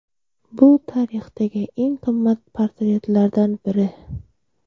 Bu tarixdagi eng qimmat portretlardan biri.